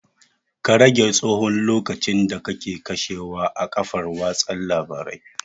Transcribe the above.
Ka rage tsahon lokacin da kake kashewa a kafar watsa labarai